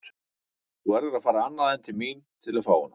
Þú verður að fara annað en til mín að fá hana.